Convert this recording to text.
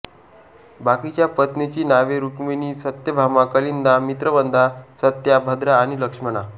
बाकीच्या पत्नीची नावे रुक्मिणी सत्यभामा कालिंदी मित्रवंदा सत्या भद्रा आणि लक्ष्मणा